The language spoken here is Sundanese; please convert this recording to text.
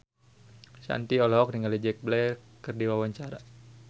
Shanti olohok ningali Jack Black keur diwawancara